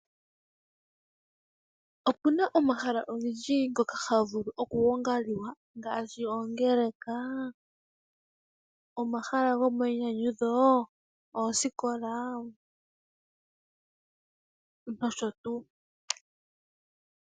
Opena omahala ogendji ngoka haga vulu okugongalwa ngaashi oongeleka, omahala go mayinyanyudho ,oosikola nosho tuu.